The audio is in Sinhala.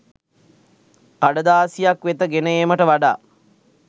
කඩදාසියක් වෙත ගෙන ඒමට වඩා